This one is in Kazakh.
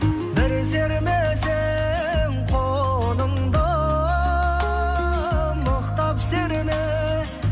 бір сермесең қолыңды мықтап серме